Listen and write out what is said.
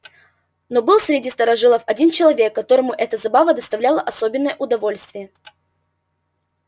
но был среди старожилов один человек которому эта забава доставляла особенное удовольствие